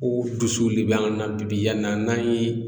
Ko dusu de bɛ an na bi yann'an ye